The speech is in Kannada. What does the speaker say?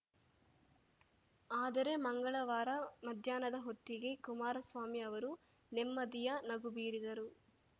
ಆದರೆ ಮಂಗಳವಾರ ಮಧ್ಯಾಹ್ನದ ಹೊತ್ತಿಗೆ ಕುಮಾರಸ್ವಾಮಿ ಅವರು ನೆಮ್ಮದಿಯ ನಗು ಬೀರಿದರು